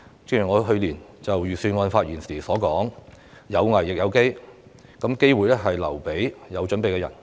正如我去年就預算案發言時所說，有危亦有機，而機會是留給有準備的人。